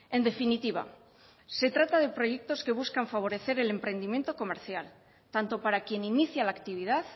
en definitiva se trata de proyectos que buscan favorecer el emprendimiento comercial tanto para quien inicia la actividad